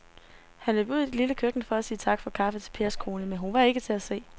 Han løb ud i det lille køkken for at sige tak for kaffe til Pers kone, men hun var ikke til at se.